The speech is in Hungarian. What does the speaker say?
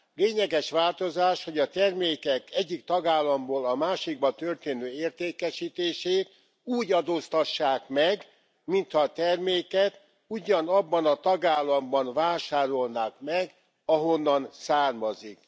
Lényeges változás, hogy a termékek egyik tagállamból a másikba történő értékesítését úgy adóztassák meg, mintha terméket ugyanabban a tagállamban vásárolnák meg, ahonnan származik.